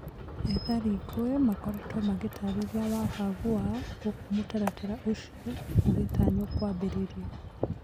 Ethari ngũĩ makoretwo magītarĩria wagagu wao gūkū mūtaratara ūcio ūgītanywo kūambĩrĩria.